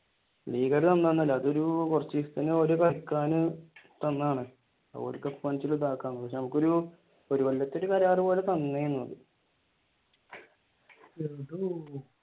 ലീഗാര് തന്നൊന്നുമല്ല അതൊരു കുറച്ചു ദിവസത്തേക്ക് ഓർ കളിക്കാൻ തന്നതാണ് ഓരുക്ക് എപ്പോവേണേലും ഇദാക്കാ നമുക്കൊരു ഒരു കൊല്ലത്തെ കരാറ് പോലെ തന്നയാണ്.